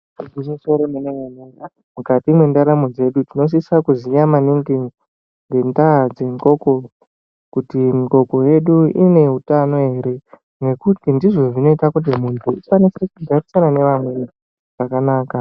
Igwinyiso remene-mene, mukati mwendaramo dzedu tinosisa kuziya maningi ngendaa dzengoko. Kuti ngoko yedu ine utano ere nekuti ndizvo zvinota kuti muntu asaneseke kugarisana nevamweni zvakanaka.